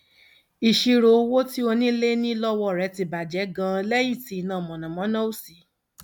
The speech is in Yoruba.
ìṣirò owó tí onílé ní lọwọ rẹ ti bà jẹ ganan lẹyìn tí iná mànàmáná ò sí